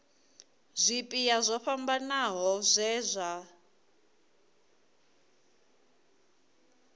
zwipia zwo fhambanaho zwe zwa